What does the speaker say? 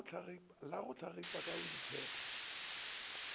le go hlagipa ka boitshepo